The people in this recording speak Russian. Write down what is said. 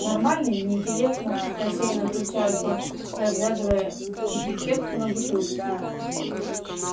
нормальный не интересно рассеяно отвечает он разглядывая этикетку на бутылке